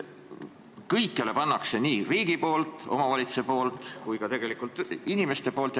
Kõikjale pannakse tegelikult raha juurde, paneb riik, omavalitsus ja ka inimesed ise.